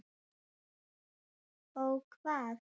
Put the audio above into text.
Ó hvað?